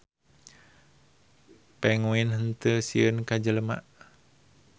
Penguin henteu sieun ka jelema.